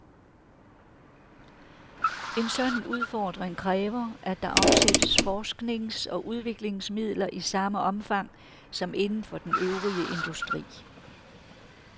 En sådan udfordring kræver, at der afsættes forsknings- og udviklingsmidler i samme omfang som inden for den øvrige industri.